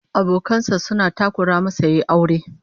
Abokan sa suna takura masa yayi aure